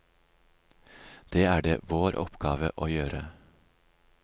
Det er det vår oppgave å gjøre.